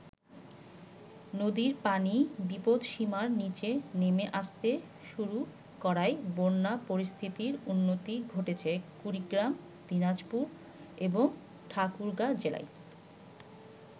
নদীর পানি বিপদসীমার নিচে নেমে আসতে শুরু করায় বন্যা পরিস্থিতির উন্নতি ঘটছে কুড়িগ্রাম, দিনাজপুর এবং ঠাকুরগাঁ জেলায়।